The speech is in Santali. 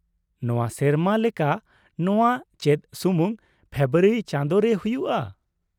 ᱱᱚᱶᱟ ᱥᱮᱨᱢᱟ ᱞᱮᱠᱟ ᱱᱚᱶᱟ ᱪᱮᱫ ᱥᱩᱢᱩᱝ ᱯᱷᱮᱵᱨᱟᱣᱨᱤ ᱪᱟᱸᱫᱚ ᱨᱮ ᱦᱩᱭᱩᱜᱼᱟ ?